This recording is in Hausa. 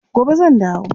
Gobe zan dawo.